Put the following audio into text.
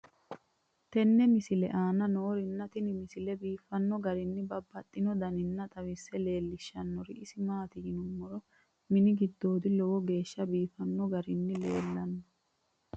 tenne misile aana noorina tini misile biiffanno garinni babaxxinno daniinni xawisse leelishanori isi maati yinummoro mini gidoodi lowo geeshsha biiffanno garinni leellanno